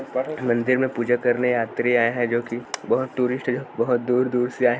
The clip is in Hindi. वहाँ मन्दिर में पूजा करने यात्री आए है जो कि बहुत टूरिस्ट बहुत दूर दूर से आए हैं।